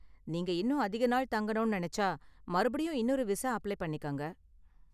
நீங்க இன்னும் அதிக நாள் தங்கணும்னு நினைச்சா, மறுபடியும் இன்னொரு விசா அப்ளை பண்ணிக்கங்க.